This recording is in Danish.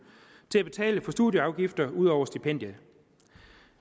til at betale for studieafgifter ud over stipendiet